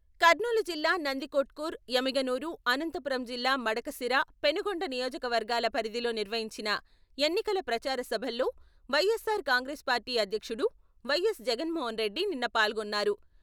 కర్నూలు జిల్లా నందికొట్కూరు, ఎమ్మిగనూరు, అనంతపురం జిల్లా మడకశిర, పెనుగొండ నియోజకవర్గాల పరిధిలో నిర్వహించిన ఎన్నికల ప్రచార సభల్లో వైఎస్సార్ కాంగ్రెస్ పార్టీ అధ్యక్షుడు వై.ఎస్.జగన్మోహన్రెడ్డి నిన్న పాల్గొన్నారు.